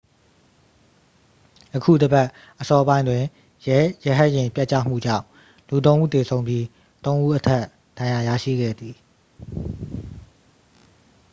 ယခုတစ်ပတ် အစောပိုင်းတွင် ရဲရဟတ်ယာဉ် ပျက်ကျမှုကြောင့် လူသုံးဦးသေဆုံးပြီး သုံးဦးအထက် ဒဏ်ရာ ရရှိခဲ့သည်